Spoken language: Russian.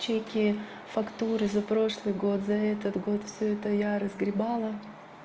чеки фактуры за прошлый год за этот год всё это я разгребала